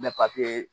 Mɛ papiye